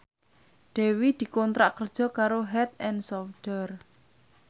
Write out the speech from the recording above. Dewi dikontrak kerja karo Head and Shoulder